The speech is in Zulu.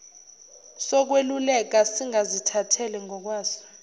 sokweluleka singazithathela ngokwaso